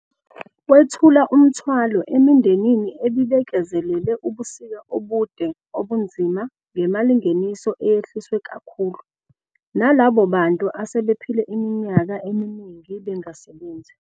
.wethula umthwalo emindenini ebibekezelele ubusika obude obunzima ngemalingeniso eyehliswe kakhulu, nalabo bantu asebephile iminyaka eminingi bengasebenzi.